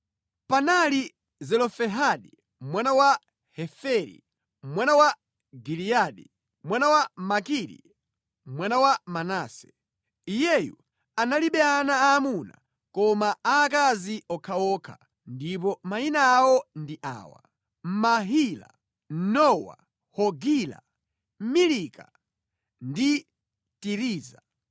Panali Zelofehadi mwana wa Heferi, mwana wa Giliyadi, mwana wa Makiri mwana wa Manase. Iyeyu analibe ana aamuna koma aakazi okhaokha ndipo mayina awo ndi awa: Mahila, Nowa, Hogila, Milika ndi Tiriza.